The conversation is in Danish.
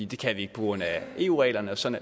det kan vi ikke på grund af eu reglerne og sådan